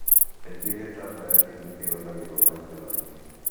Kaingĩ gitambaya kĩu nĩ kĩhũthagĩrũo maita maingĩ.